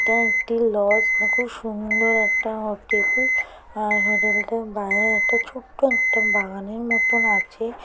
এটা একটি লজ খুব সুন্দর একটা হোটেল আর হোটেলটা বাইরে একটা ছোটো একটা বাগানের মতোন আছে।